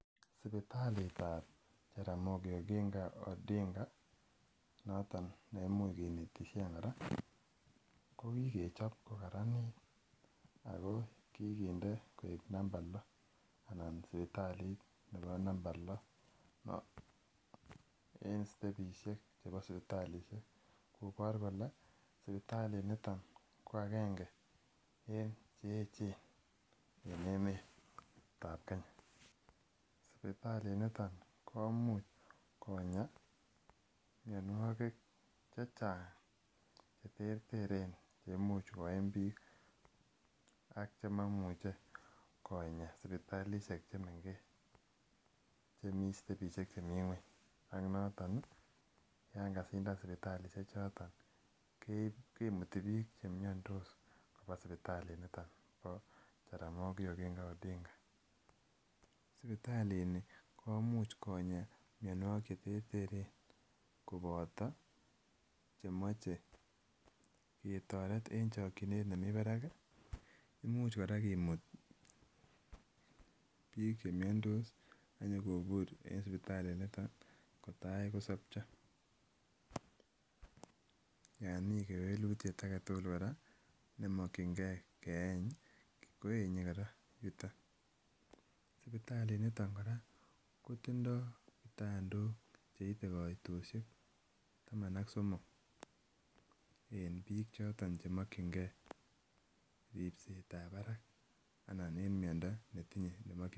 Sibitalitab jaramigi oginga odinga , noton nekinetishen kora mokigechob kokarananit Ako namba loh anan sipitalit nebo namba loh en en stebishek chebo sibitalishek koboru kole sipitalit nito ko agenge en cheechen en emeetab Kenya sipitalit niton komuche Konya mianikik chechang cheterteren cheimuche koimbik ak chemomuche Konya sibitalishek chemeng'ech chemi stebishek chemii ng'uany ak notoon yoon kasindan sibitalishek choton keib kimuti bik che miandos kobwa sipitali nitok bo jaramigi oginga odinga. Sipitalit ni komuch Konya mianikik cheterteren koboto nemoche ketoret en chokchinet nemite barak ih, imuch kora komuut bik che miandos akonyokobur en sipitalit nito kotai kosobcho Yoon mi kewelutit age tugul nemokienge koenye kora yuton . Sipitalit niton kora kotindo kitandok kaitosiek taman ak somok en bik choton chemokienge ribsetab barak anan en miando netinye nemakienge.